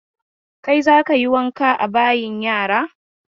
Kai za ka yi wanka a bayin yara!